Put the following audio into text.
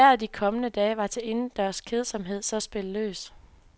Hvis vejret de kommende dage er til indendørs kedsomhed, så spil løs.